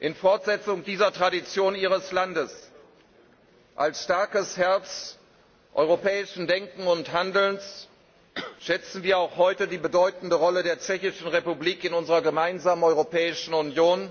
In Fortsetzung dieser Tradition Ihres Landes, als starkes Herz europäischen Denkens und Handelns, schätzen wir auch heute die bedeutende Rolle der Tschechischen Republik in unserer gemeinsamen Europäischen Union,